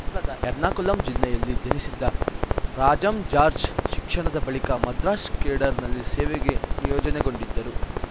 ಕೇರಳದ ಎರ್ನಾಕುಲಂ ಜಿಲ್ಲೆಯಲ್ಲಿ ಜನಿಸಿದ್ದ ರಾಜಂ ಜಾಜ್‌ರ್‍ ಶಿಕ್ಷಣದ ಬಳಿಕ ಮದ್ರಾಸ್‌ ಕೇಡರ್‌ನಲ್ಲಿ ಸೇವೆಗೆ ನಿಯೋಜನೆಗೊಂಡಿದ್ದರು